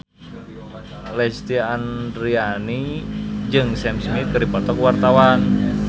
Lesti Andryani jeung Sam Smith keur dipoto ku wartawan